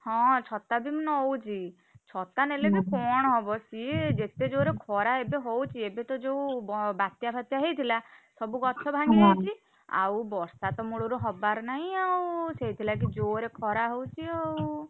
ହଁ ଛତା ବି ମୁଁ ନଉଚି। ଛତା ନେଲେ ବି କଣ ହବ ସିଏ ଯେତେ ଜୋରେ ଏବେ ଖରା ହଉଛି, ଏବେ ତ ଯୋଉ ବ~ବାତ୍ୟା ଫାତ୍ୟା ହେଇଥିଲା, ସବୁ ଗଛ ଭାଙ୍ଗି ଯାଇଛି ଆଉ ବର୍ଷାତ ମୁଳୁରୁ ହବାର ନାହିଁଆଉ ସେଇଥିଲାଗି ଜୋରେ ଖରା ହଉଛି ଆଉ,